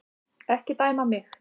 Ekki dæma mig.